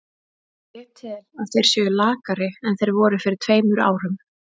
Ég tel að þeir séu lakari en þeir voru fyrir tveimur árum.